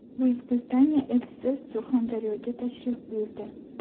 Buyuk Britaniya elchisi Surxondaryoga tashrif buyurdi.